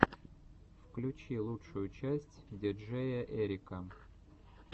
включи лучшую часть диджеяэрика